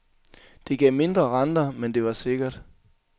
Det gav mindre renter, men det var sikkert.